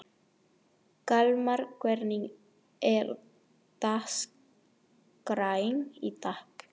Kalmar, hvernig er dagskráin í dag?